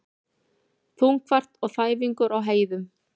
Þungfært og þæfingur á heiðum